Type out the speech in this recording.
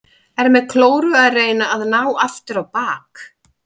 Er með klóru að reyna að ná aftur á bak.